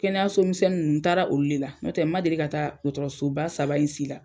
Kɛnɛyaso misɛnni nn n taara olu le la ɲɔtɛ ma deli ka taa dɔɔtɔrɔsoba saba in si la.